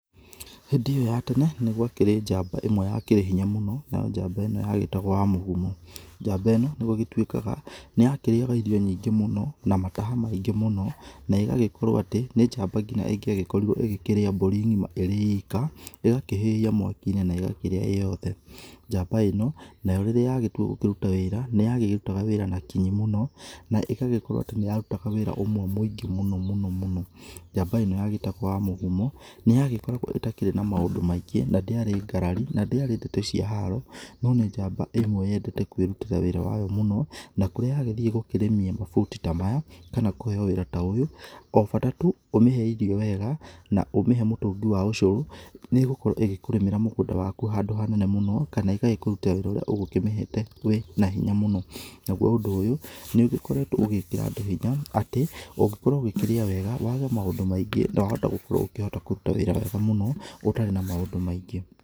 Hĩndĩ ĩyo ya tene nĩgwakĩrĩ njamba ĩmwe yakĩrĩ hinya mũno, nayo njamba ĩno yagĩtagwo wa mũgumu. Njamba ĩno nĩ gũgĩtuĩkaga nĩyakĩrĩyaga irio nyingĩ mũno na mataha maingĩ mũno negagĩkorwo atĩ nĩ njamba nginya ĩngiagĩkorirwo ĩgĩkũria mbũri ngĩma irĩ ĩka, ĩgakĩhĩhia mwaki-inĩ na ĩgakĩrĩa ĩyothe. Njamba ino nayo rĩrĩa yagĩtua gũkĩruta wĩra nĩyakĩrutaga wĩra na kinyi mũno na ĩgagĩkorwo atĩ nĩyarutaga wĩra ũmwe mũingĩ mũno mũno. Njamba ĩno yagĩtagwo wa mũgumu nĩyagĩkoragwo ĩtakĩrĩ na maũndũ maingĩ na ndĩarĩ ngarari na ndĩarĩ ndeto cia haro no nĩ njamba ĩmwe yendete kwĩrutĩra wĩra wayo mũno na kũrĩa yagĩthiĩ gũkĩrĩmia mabuti ta maya kana kũheyo wĩra ta ũyũ o bata tu ũmĩhe irio wega na ũmĩhe mũtũngi wa ũcũrũ nĩgũkorwo ĩgĩkũrĩmĩra mũgũnda waku handũ hanene mũno kana ĩgagĩkũrutĩra wĩra ũrĩa ũgũkĩmĩhete na hinya mũno. Naguo ũndũ ũyũ nĩũgĩkoretwo ũgĩkĩra andũ hinya atĩ ũngĩkorwo ũkĩrĩa wega wage maũndũ maingĩ no ũhote gũkorwo ũkĩruta wĩra wega mũno ũtarĩ na maũndũ maingĩ.